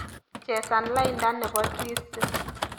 Chesan lainda nebo twisdi